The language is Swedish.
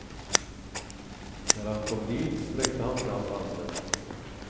När han kom dit sträckte han fram handen.